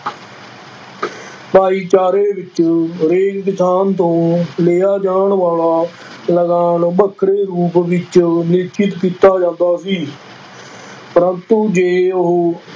ਭਾਈਚਾਰੇ ਵਿੱਚ ਹਰੇਕ ਕਿਸਾਨ ਤੋਂ ਲਿਆ ਜਾਣਾ ਵਾਲਾ ਲਗਾਨ ਵੱਖਰੇ ਰੂਪ ਵਿੱਚ ਨਿਸ਼ਚਿਤ ਕੀਤਾ ਜਾਂਦਾ ਸੀ ਪਰੰਤੂ ਜੇ ਉਹ